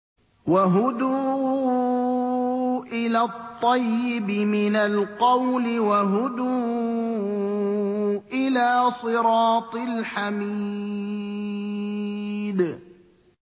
وَهُدُوا إِلَى الطَّيِّبِ مِنَ الْقَوْلِ وَهُدُوا إِلَىٰ صِرَاطِ الْحَمِيدِ